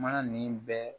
Ma nin bɛɛ